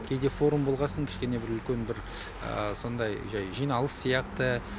кейде форум болғасын кішкене бір үлкен бір сондай жай жиналыс сияқты